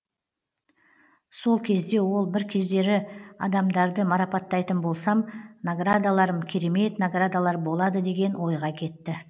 сол кезде ол бір кездері адамдарды марапаттайтын болсам наградаларым керемет наградалар болады деген ойға кетті